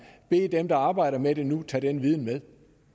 bede dem der arbejder med det nu tage den viden med